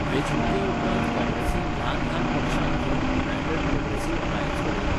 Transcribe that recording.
वेंचणुकेउपरांत काँग्रेसीन ल्हान ल्हान पक्षांक घेवन 'युनायटेड प्रॉग्रॅसिव्ह अलायन्स' घडयलो.